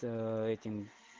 то этим